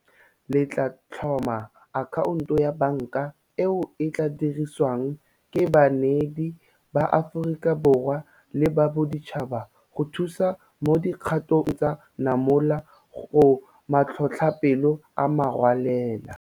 Le tla tlhoma akhaonto ya banka eo e tla dirisiwang ke baneedi ba Aforika Borwa le ba boditšhaba go thusa mo dikgatong tsa namolo go matlhotlhapelo a merwalela.